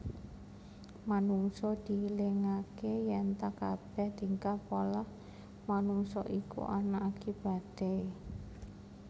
Manungsa dielingaké yènta kabèh tingkah polah manungsa iku ana akibaté